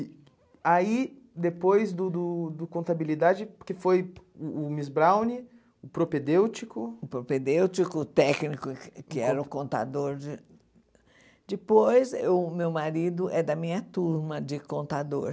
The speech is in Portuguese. E aí, depois do do do Contabilidade, que foi o Miss Browne, o propedêutico... O propedêutico, o técnico, que era o contador de... Depois, o meu marido é da minha turma de contador.